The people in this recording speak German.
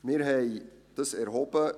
Wir haben dies erhoben.